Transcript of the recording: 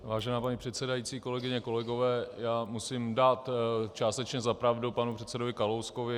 Vážená paní předsedající, kolegyně, kolegové, já musím dát částečně za pravdu panu předsedovi Kalouskovi.